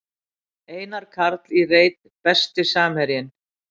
Einar Karl í reit Besti samherjinn?